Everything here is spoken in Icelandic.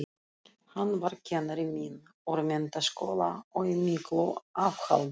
Hann var kennari minn úr menntaskóla og í miklu afhaldi.